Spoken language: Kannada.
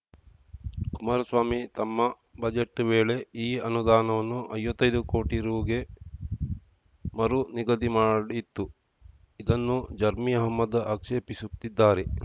ಕುಮಾರಸ್ವಾಮಿ ತಮ್ಮ ಬಜೆಟ್‌ ವೇಳೆ ಈ ಅನುದಾನವನ್ನು ಐವತ್ತೈದು ಕೋಟಿ ರುಗೆ ಮರು ನಿಗದಿ ಮಾಡಿತ್ತು ಇದನ್ನು ಜರ್ಮಿ ಅಹ್ಮದ್‌ ಆಕ್ಷೇಪಿಸುತ್ತಿದ್ದಾರೆ